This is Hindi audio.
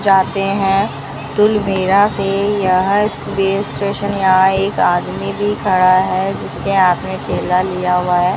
जाते हैं दुलमेरा से यह रेल स्टेशन यहां एक आदमी भी खड़ा है जिसके हाथ में थैला लिया हुआ है।